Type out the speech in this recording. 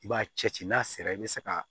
I b'a cɛ ci n'a sera i bɛ se ka